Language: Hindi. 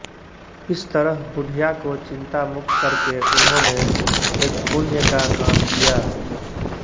इस तरह बुढिया को चिन्तामुक्त करके उन्होंने एक पुण्य का काम किया